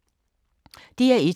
DR1